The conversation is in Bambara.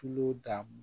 Tulo dan